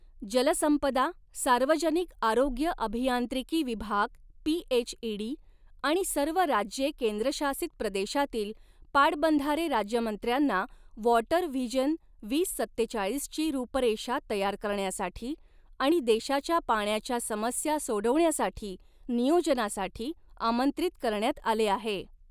जलसंपदा, सार्वजनिक आरोग्य अभियांत्रिकी विभाग पीएचइडी आणि सर्व राज्ये केंद्रशासित प्रदेशातील पाटबंधारे राज्यमंत्र्यांना व़ॉटर व्हिजन वीस सत्तेचाळीसची रूपरेषा तयार करण्यासाठी आणि देशाच्या पाण्याच्या समस्या सोडवण्यासाठी नियोजनासाठी आमंत्रित करण्यात आले आहे.